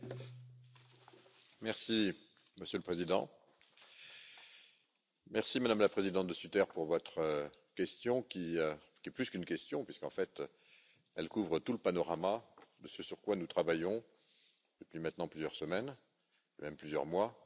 Monsieur le Président, Madame la Présidente De Sutter, merci pour votre question qui est plus qu'une question, puisqu'en fait elle couvre tout le panorama de ce sur quoi nous travaillons depuis maintenant plusieurs semaines et même plusieurs mois à la Commission, concernant